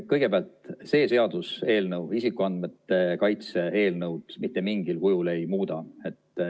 Kõigepealt, see seaduse eelnõu isikuandmete kaitse seaduse eelnõu mitte mingil kujul ei muuda.